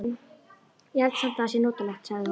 Ég held samt það sé notalegt, sagði hún.